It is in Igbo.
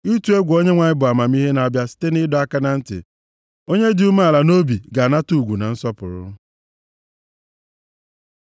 Ịtụ egwu Onyenwe anyị bụ amamihe na-abịa site nʼịdọ aka na ntị; onye dị umeala nʼobi ga-anata ugwu na nsọpụrụ.